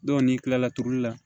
n'i kila la turuli la